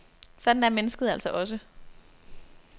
Sådan er mennesket altså også.